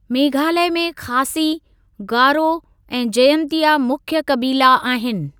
मेघालय में खासी, गारो ऐं जयंतिया मुख्य कबीला आहिनि।